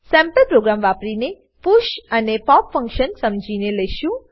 sample program વાપરીને push અને pop function સમજીને લેશું